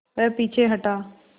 वह पीछे हटा